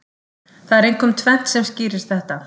Það er einkum tvennt sem skýrir þetta.